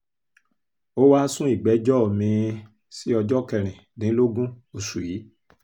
ó wáá sun ìgbẹ́jọ́ mi-ín sí ọjọ́ kẹrìndínlógún oṣù yìí